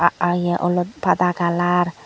ae ye olot pada kalar .